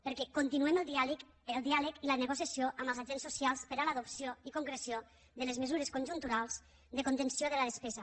perquè continuem el diàleg i la negociació amb els agents socials per a l’adopció i concreció de les mesures conjunturals de contenció de la despesa